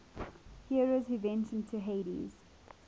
heroes who ventured to hades